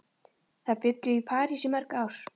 Þær bjuggu í París í mörg ár.